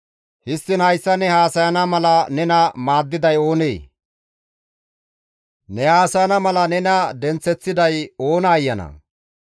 Histtiin hayssa ne haasayana mala nena maaddiday oonee? Ne haasayana mala nena denththeththiday oona ayanaa!»